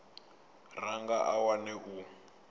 ra nga a wana u